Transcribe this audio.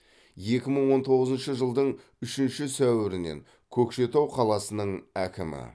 екі мың он тоғызыншы жылдың үшінші сәуірінен көкшетау қаласының әкімі